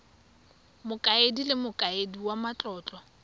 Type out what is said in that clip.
mokaedi le mokaedi wa matlotlo